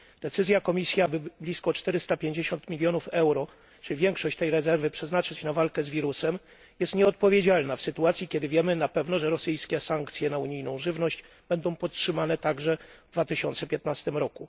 Decyzja Komisji, aby blisko 450 mln euro, czyli większość tej rezerwy, przeznaczyć na walkę z wirusem, jest nieodpowiedzialna w sytuacji, kiedy mamy pewność, że rosyjskie sankcje na unijną żywność zostaną podtrzymane także w 2015 r.